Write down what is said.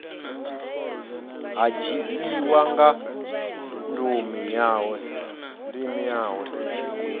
ha dzhiiwa nga ndumi yawe